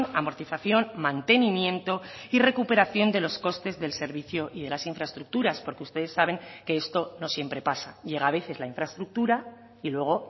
amortización mantenimiento y recuperación de los costes del servicio y de las infraestructuras porque ustedes saben que esto no siempre pasa llega a veces la infraestructura y luego